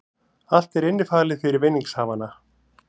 Allt er innifalið fyrir vinningshafana